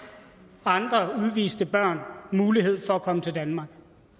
andre udviste børn mulighed for at komme til danmark